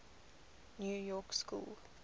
new york school